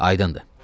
Aydındır.